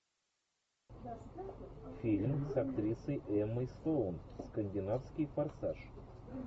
фильм с актрисой эммой стоун скандинавский форсаж